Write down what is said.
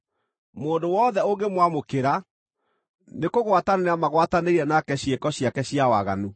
Mũndũ wothe ũngĩmwamũkĩra, nĩkũgwatanĩra magwatanĩire nake ciĩko ciake cia waganu.